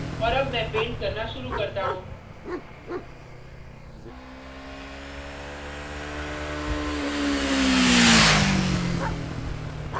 और अब मैं paint करना शुरू करता हूँ